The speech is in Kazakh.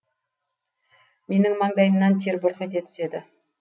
менің маңдайымнан тер бұрқ ете түседі